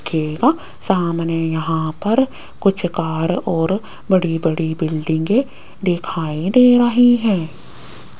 केला सामने यहां पर कुछ कार और बड़ी बड़ी बिल्डिंगें दिखाई दे रही हैं।